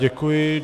Děkuji.